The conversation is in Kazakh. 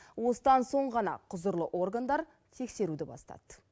осыдан соң ғана құзырлы органдар тексеруді бастады